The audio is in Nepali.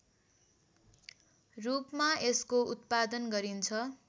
रूपमा यसको उत्पादन गरिन्छ